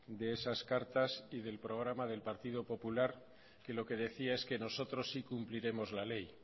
de esas cartas y del programa del partido popular que lo que decía es que nosotros sí cumpliremos la ley